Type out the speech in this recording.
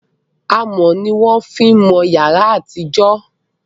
amò ní wọn fí mọ yàrá àti ìjọ